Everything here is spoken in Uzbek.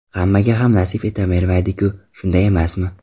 Hammaga ham nasib etavermaydi-ku, shunday emasmi.